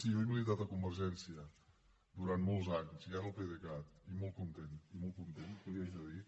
sí jo he militat a convergència durant molts anys i ara al pdecat i molt content i molt content què li haig de dir